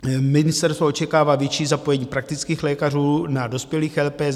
Ministerstvo očekává větší zapojení praktických lékařů na dospělých LPS.